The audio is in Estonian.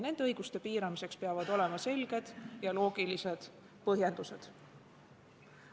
Nende õiguste piiramiseks peavad olema selged ja loogilised põhjendused.